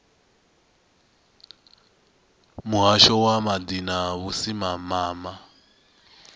muhasho wa maḓi na vhusimama